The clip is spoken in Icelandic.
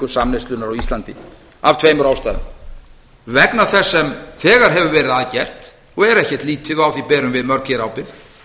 samneyslunnar á íslandi af tveimur ástæðum vegna þess sem þegar hefur verið að gert og er ekkert lítið og á því berum við mörg hér ábyrgð